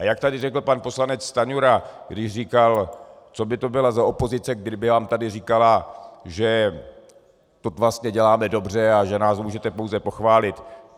A jak tady řekl pan poslanec Stanjura, když říkal, co by to bylo za opozici, kdyby vám tady říkala, že to vlastně děláme dobře a že nás můžete pouze pochválit.